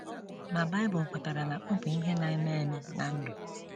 Ma Bible kwetara na ọ bụ ihe na - eme eme ná ndụ.